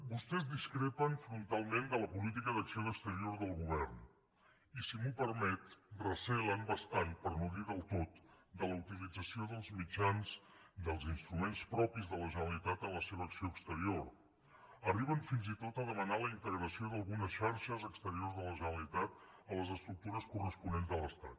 vostès discrepen frontalment de la política d’acció exterior del govern i si m’ho permet recelen bastant per no dir del tot de la utilització dels mitjans dels instruments propis de la generalitat en la seva acció exterior arriben fins i tot a demanar la integració d’algunes xarxes exteriors de la generalitat a les estructures corresponents de l’estat